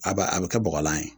A ba a bi kɛ bɔgɔlan ye